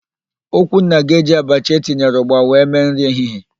Okwunna ga-eji abacha etinyere ụgba wee mee nri ehihie.